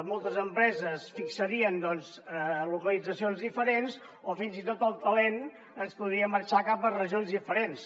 moltes empreses fixarien localitzacions diferents o fins i tot el talent ens podria marxar cap a regions diferents